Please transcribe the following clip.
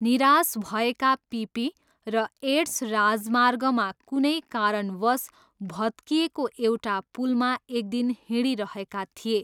निराश भएका पिपी र एड्स राजमार्गमा कुनै कारणवश भत्किएको एउटा पुलमा एकदिन हिँडिरहेका थिए।